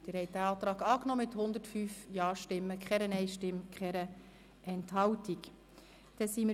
Sie haben den Antrag von SiK und Regierung mit 105 Ja- gegen 0 Nein-Stimmen bei 0 Enthaltungen angenommen.